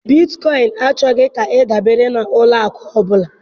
Bitkoịn achọghị ka ịdabere na ụlọ akụ ọ bụla